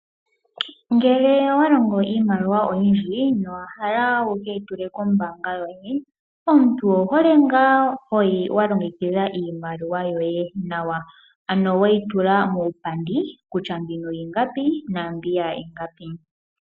Ngele owa longo iimaliwa oyindji nowa hala wukeyi tule kombanga yoye. Omuntu owu hole ngaa hoyi wa longekidha iimaliwa yoye nawa. Ano weyi tula muupandi kutya mbino ingapi naa mbiya ingapi.